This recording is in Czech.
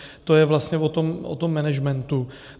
To je vlastně o tom managementu.